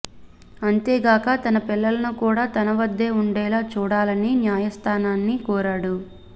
అంతేగాక తన పిల్లలను కూడా తనవద్దే ఉండేలా చూడాలని న్యాయస్థానాన్ని కోరాడు